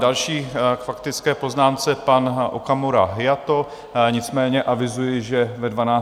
Další k faktické poznámce pan Okamura Hayato, nicméně avizuji, že ve 12.30 budu...